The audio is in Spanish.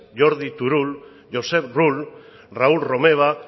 jordi turull josep rull raúl romeva